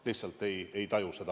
Lihtsalt ma ei taju seda põhjust.